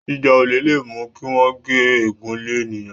jíjà olè lè mú kí wón gé egún lẹ ènìyàn